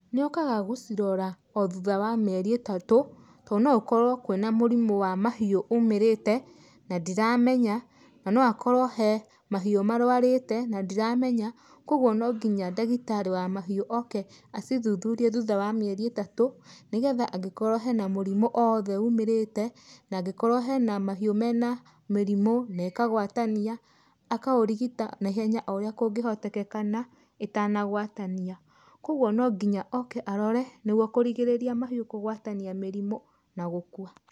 Nĩ okaga gũcirora o thutha wa mĩeri ĩtatũ to no gũkorwo kwĩna mũrimũ wa mahiũ umĩrĩte na ndiramenya na no akorwo he mahiũ marũarĩte na ndiramenya. Koguo no nginya ndagĩtarĩ wa mahiũ oke acithuthurie thutha wa mĩeri ĩtatũ nĩ getha angĩkorwo hena mũrimũ o wothe ũmĩrĩte na angĩkorwo hena mahiũ mena mĩrimũ na ĩkagwatania akaũrigita naihenya o ũrĩa kũngĩhotekekana ĩtanagwatania. Koguo no nginya oke arore nĩguo kũrigĩrĩria mahiũ kũgwatania mĩrimũ na gũkua.